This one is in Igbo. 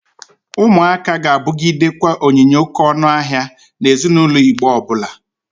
Ụmụaka ga-abụgidekwa onyinye oke ọnụ ahịa na ezinaulo Igbo ọbụla.